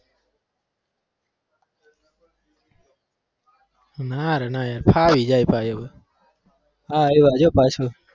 ના રે ના યાર ફાવી જાય ભાઈ આ આવ્યું જો પાછું.